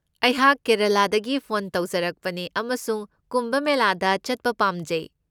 ꯑꯩꯍꯥꯛ ꯀꯦꯔꯂꯥꯗꯒꯤ ꯐꯣꯟ ꯇꯧꯖꯔꯛꯄꯅꯤ ꯑꯃꯁꯨꯡ ꯀꯨꯝꯚ ꯃꯦꯂꯥꯗ ꯆꯠꯄ ꯄꯥꯝꯖꯩ꯫